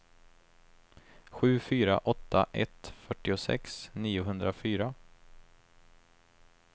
sju fyra åtta ett fyrtiosex niohundrafyra